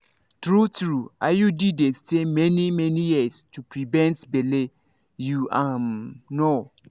true-true iud dey stay many-many years to prevent belle. you um know